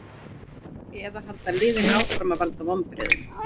Eða halda liðin áfram að valda vonbrigðum?